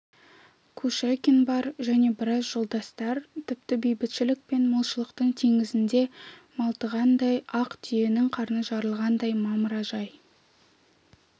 кушекин бар және біраз жолдастар тіпті бейбітшілік пен молшылықтың теңізінде малтығандай ақ түйенің қарны жарылғандай мамыражай